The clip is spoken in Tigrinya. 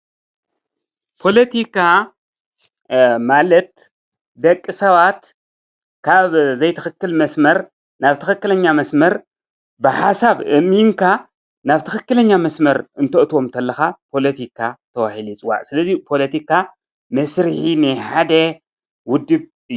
ፖለቲካ ማለት ደቂ ሰባት ካብ ዘይትክክል መስመር ናብ ትክክል መስመር ብሓሳብ ኣእሚንካ ናብ ትክክለኛ መስመር እንተእትዎም ከለካ ፖለቲካ ተባሂሉ ይፅዋዕ። ስለዚ ፖለቲካ መስርሒት ናይ ሓደ ዉድብ እዩ።